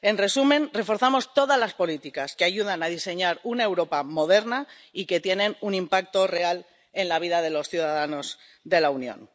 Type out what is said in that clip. En resumen, reforzamos todas las políticas que ayudan a diseñar una Europa moderna y que tienen un impacto real en la vida de los ciudadanos de la Unión.